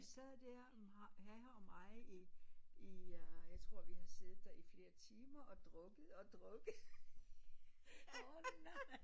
Sad der herrer og mig i i øh jeg tror vi har siddet der i flere timer og drukket og drukket